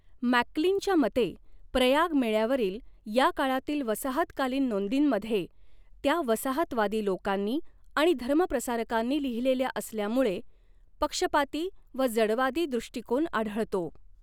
मॅकक्लीनच्या मते, प्रयाग मेळ्यावरील या काळातील वसाहतकालीन नोंदींमध्ये, त्या वसाहतवादी लोकांनी आणि धर्मप्रसारकांनी लिहिलेल्या असल्यामुळे, पक्षपाती व जडवादी दृष्टिकोन आढळतो.